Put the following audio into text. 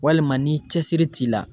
Walima ni cɛsiri t'i la.